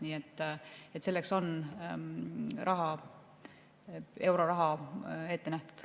Nii et selleks on euroraha ette nähtud.